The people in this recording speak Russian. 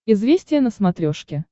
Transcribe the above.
известия на смотрешке